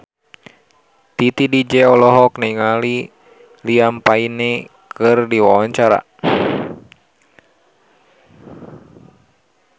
Titi DJ olohok ningali Liam Payne keur diwawancara